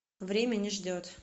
время не ждет